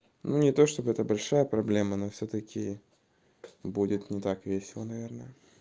ну не то чтобы это большая проблема но всё-таки будет не так весело наверное